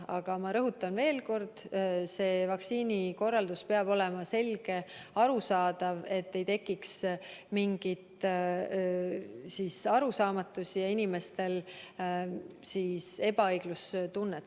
Aga ma rõhutan veel kord: vaktsineerimine peab olema korraldatud selgelt ja arusaadavalt, et ei tekiks mingeid arusaamatusi ja inimestel sellega seoses ebaõiglustunnet.